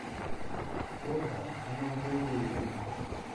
ольга амангелдыевна